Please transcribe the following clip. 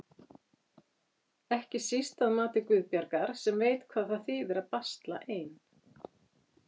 Ekki síst að mati Guðbjargar sem veit hvað það þýðir að basla ein.